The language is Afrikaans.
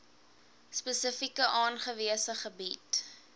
spesifiek aangewese gebiede